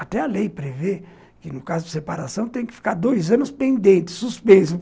Até a lei prevê que, no caso de separação, tem que ficar dois anos pendente, suspenso.